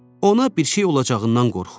Ona bir şey olacağından qorxurdu.